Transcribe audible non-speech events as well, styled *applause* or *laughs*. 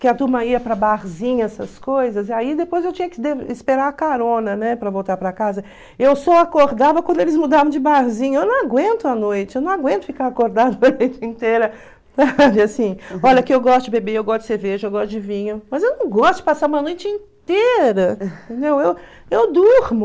que a turma ia para barzinho, essas coisas, aí depois eu tinha que *unintelligible* esperar a carona, né, para voltar para casa, eu só acordava quando eles mudavam de barzinho, eu não aguento a noite, eu não aguento ficar acordada *laughs* a noite inteira, *laughs* assim, olha que eu gosto de beber, eu gosto de cerveja, eu gosto de vinho, mas eu não gosto de passar uma noite inteira, entendeu, eu eu durmo,